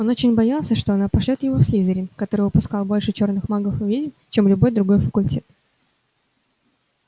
он очень боялся что она пошлёт его в слизерин который выпускал больше чёрных магов и ведьм чем любой другой факультет